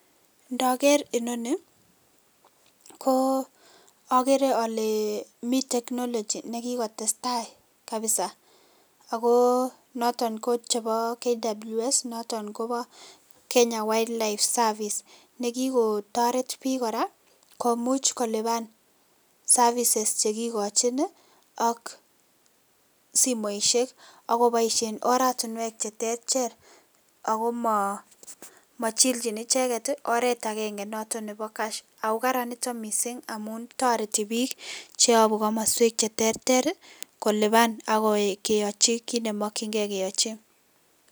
Ndiker inoni ko okeree olee mii technology nekikotestai kabisaa akoo noton ko chebo KWS noton koboo Kenya wildlife service nekikotoret biik kora komuch koliban services chekikochin ak simoishek, ak koboishen oratinwek cheterter ak mochilchin icheket oreet akeng'e noton neboo cash ak karan noton mising amuun toreti biik cheyobu komoswek cheterter koliban ak keyochi kiit nemokying'e keyochi.